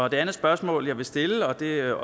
et andet spørgsmål jeg vil stille og det er